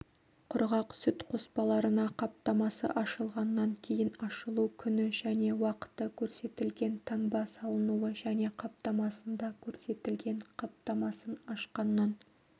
құрғақ сүт қоспаларына қаптамасы ашылғаннан кейін ашылу күні және уақыты көрсетілген таңба салынуы және қаптамасында көрсетілген қаптамасын ашқаннан